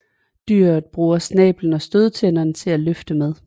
Dyret bruger snablen og stødtænderne til at løfte med